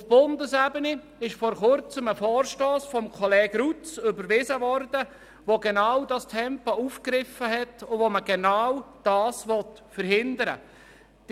Auf Bundesebene wurde vor Kurzem ein Vorstoss von Kollege Gregor Rutz überwiesen, der das Thema der Tempo-30-Zonen aufgegriffen hat und genau das verhindern will.